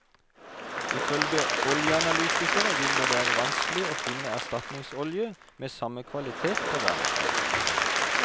I følge oljeanalytikere vil det være vanskelig å finne erstatningsolje med samme kvalitet på verdensmarkedet.